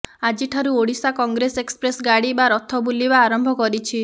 ଆଜିଠାରୁ ଓଡ଼ିଶା କଂଗ୍ରେସ ଏକ୍ସପ୍ରେସ ଗାଡ଼ି ବା ରଥ ବୁଲିବା ଆରମ୍ଭ କରିଛି